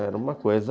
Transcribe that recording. Era uma coisa...